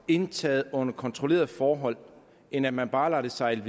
indtages under kontrollerede forhold end at man bare lader det sejle